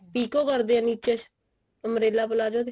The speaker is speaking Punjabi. ਪਿਕੋ ਕਰਦੇ ਆ ਨਿੱਚੇ umbrella palazzo ਦੇ